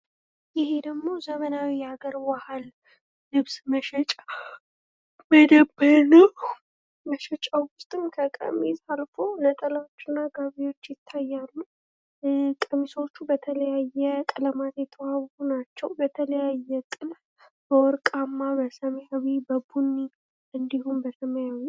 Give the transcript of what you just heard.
ይህ ደሞ ዘመናዊ የሃገር ባህል ልብስ መሸጫ መደብር ነው መሸጫዉ ዉስጥም ከቀሚስ አልፎ ነጠላዎች እና ጋቢዎች ይታያሉ። ቀሚሶቹ በተለያየ ቀለማት የተዋቡ ናቸው በተለያየ ጥልፍ በወርቃማ፣ በሰማያዊ ፣ በቡኒ፣ እንዲሁም በሰማያዊ።